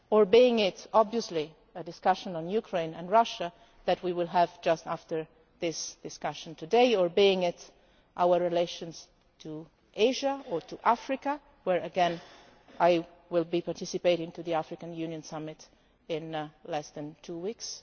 in the region or, obviously, a discussion on Ukraine and Russia, which we will have just after this discussion today or our relations with Asia or Africa, where again I will be participating in the African Union Summit in